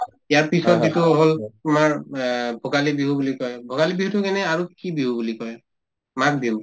ইয়াৰপিছত যিটো হল তোমাৰ বা ভোগালী বিহু বুলি কই ভোগালী বিহুতো কেনে আৰু কি বিহু বুলি কই মাঘ বিহু?